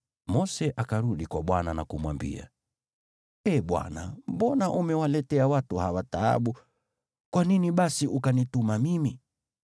Mose akarudi kwa Bwana na kumwambia, “Ee Bwana, mbona umewaletea watu hawa taabu? Kwa nini basi ukanituma mimi?